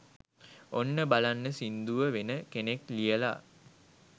ඔන්න බලන්න සිංදුව වෙන කෙනෙක් ලියලා